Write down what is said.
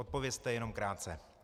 Odpovězte jenom krátce.